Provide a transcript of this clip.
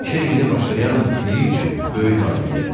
İşə yeni başlayan biri üçün böyük nailiyyətdir.